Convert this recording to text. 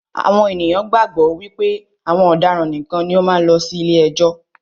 Àwọn ènìyàn gbàgbọ́ wípé àwọn ọ̀daràn nìkan ni ó máa ń lọ sí ilé ẹjọ́.